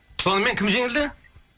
сонымен кім жеңілді